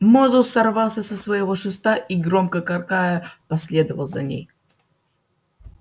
мозус сорвался со своего шеста и громко каркая последовал за ней